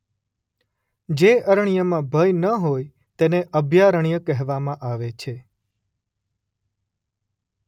જે અરણ્યમાં ભય ન હોય તેને અભયારણ્ય કહેવામાં આવે છે.